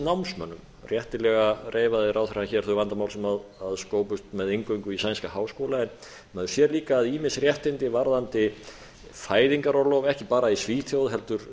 námsmönnum réttilega reifaði ráðherra hér þau vandamál sem skópust með inngöngu í sænska háskóla en maður sér líka að ýmis réttindi varðandi fæðingarorlof ekki bara í svíþjóð heldur